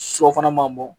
Sɔ fana man bɔ